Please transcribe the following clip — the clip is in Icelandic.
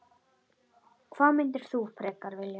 Hvað myndir þú frekar vilja?